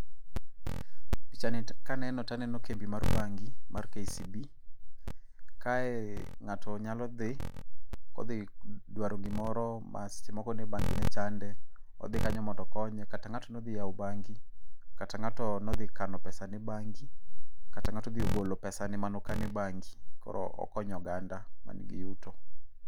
Pichani kaneno to aneno kambi mar bengi, mar KCB, kae ng'ato nyalo dhi, odhi dwaro gimoro ma seche moko ne bangi ne chande. Odhi kanyo mondo okonye, kata ng'ato nodhi kano pesane e bengi, kata ng'ato odhi golo pesane manokano e bengi, koro okonyo oganda man gi yuto.